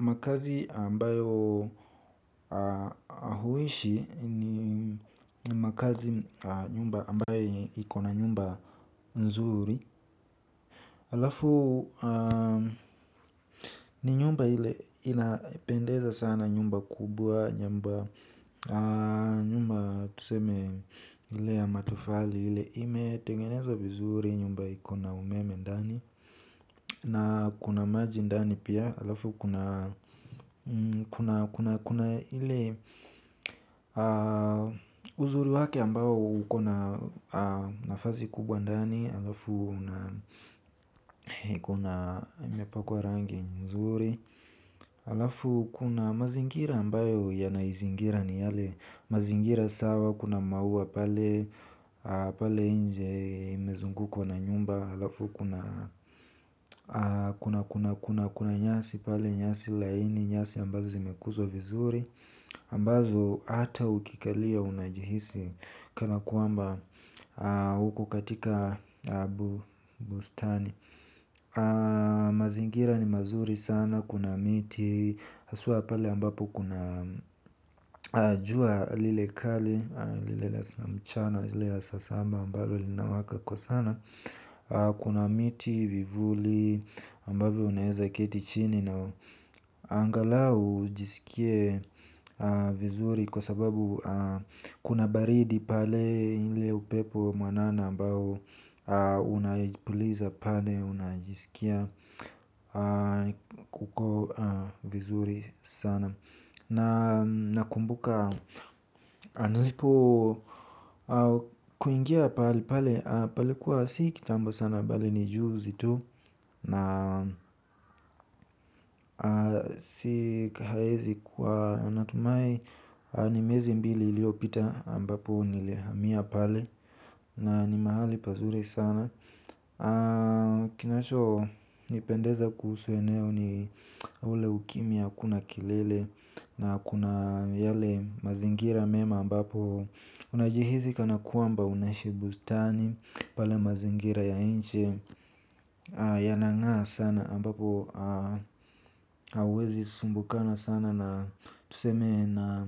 Makazi ambayo huishi ni makazi nyumba ambayo ikona nyumba nzuri. Alafu ni nyumba hile inapendeza sana nyumba kubwa nyumba tuseme hile ya matofali hile ime tegenezo vizuri nyumba ikona umeme ndani. Na kuna majindani pia, alafu kuna ili uzuri wake ambayo kuna nafazi kubwa ndani, alafu kuna imepakwa rangi nzuri. Alafu kuna mazingira ambayo ya naizingira ni yale mazingira sawa kuna mauwa pale inje imezunguko na nyumba. Alafu kuna kuna kuna kuna nyasi pale nyasi laini nyasi ambazo zimekuzo vizuri ambazo ata ukikalia unajihisi kana kuamba huko katika Bustani Mazingira ni mazuri sana, kuna miti Asua pale ambapo kuna jua lilekali Lilela mchana, lilela sasamba ambapo linawaka kwa sana. Kuna miti vivuli ambapo uneza ketichini. Angalau ujisikie vizuri kwa sababu kuna baridi pale ile upepo mwanana ambapo unajipuliza pade, unajisikia. Uko vizuri sana. Na kumbuka Anilipo Kuingia palipale palikuwa si kitambo sana Bale ni juu zitu. Na si kahezi kwa natumai ni mezi mbili iliopita ambapo nilihamia pale. Na ni mahali pazuri sana kinachonipendeza kuhusu eneo ni ule ukimya hakuna kelele na kuna yale mazingira mema ambapo unajihisi kana kwamba unahishi bustani pale mazingira ya nje yanang'aa sana ambapo huwezi sumbukana sana na tuseme na